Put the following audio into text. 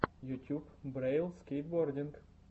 ютюб брэйл скейтбординг